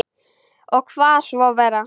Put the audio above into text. Ég kvað svo vera.